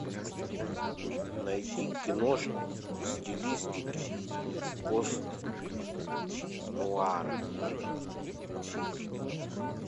найди киношку в стилистике пост нуара